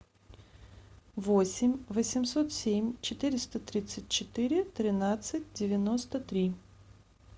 восемь восемьсот семь четыреста тридцать четыре тринадцать девяносто три